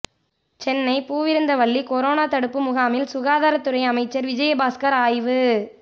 Chennai Poovirunthavalli corona தடுப்பு முகாமில் சுகாதாரத்துறை அமைச்சர் விஜயபாஸ்கர் ஆய்வு